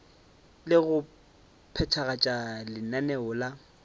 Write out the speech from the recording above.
le go phethagatša lenaneo la